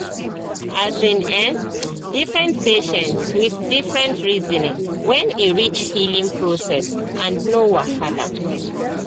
as in um different patients with different reasoning when e reach healing process and no wahala